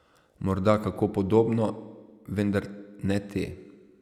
Morda kako podobno, vendar ne te.